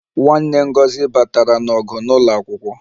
Nwanne Ngozi batara n'ọgụ n'ụlọ akwụkwọ